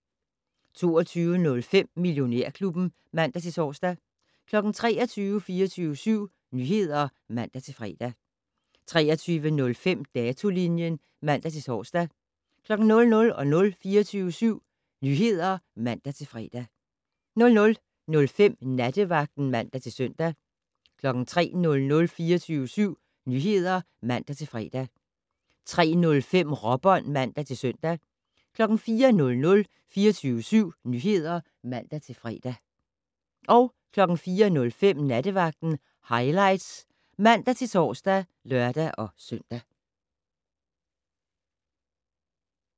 22:05: Millionærklubben (man-tor) 23:00: 24syv Nyheder (man-fre) 23:05: Datolinjen (man-tor) 00:00: 24syv Nyheder (man-fre) 00:05: Nattevagten (man-søn) 03:00: 24syv Nyheder (man-fre) 03:05: Råbånd (man-søn) 04:00: 24syv Nyheder (man-fre) 04:05: Nattevagten Highlights (man-tor og lør-søn)